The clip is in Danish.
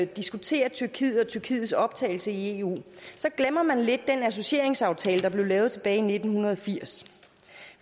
diskuterer tyrkiet og tyrkiets optagelse i eu så glemmer man lidt den associeringsaftale der blev lavet tilbage i nitten firs